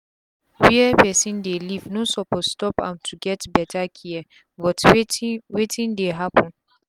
were pesin dey leave no suppose stop am to get beta care but wetin wetin dey happen